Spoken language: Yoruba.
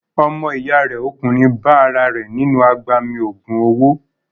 Ọmọ ìyá rẹ̀ ọkùnrin bá ara rẹ̀ nínú agbami ògùn owó.